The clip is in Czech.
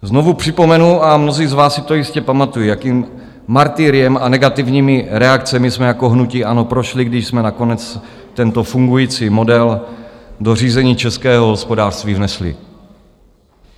Znovu připomenu, a mnozí z vás si to jistě pamatují, jakým martyriem a negativními reakcemi jsme jako hnutí ANO prošli, když jsme nakonec tento fungující model do řízení českého hospodářství vnesli.